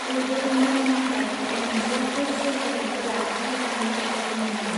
लिरबोदोंमोन नाथाय आंनि बैफोर सोरजिथायफोरा मोजां रैखाथि मोनै.